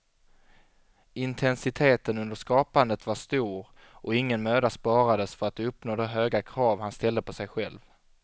Intensiteten under skapandet var stor och ingen möda sparades för att uppnå de höga krav han ställde på sig själv.